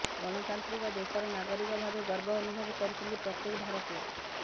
ଗଣତାନ୍ତ୍ରିକ ଦେଶର ନାଗରିକ ଭାବେ ଗର୍ବ ଅନୁଭବ କରୁଛନ୍ତି ପ୍ରତ୍ୟେକ ଭାରତୀୟ